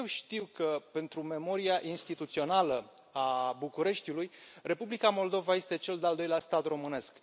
Eu știu că, pentru memoria instituțională a Bucureștiului, Republica Moldova este cel de al doilea stat românesc.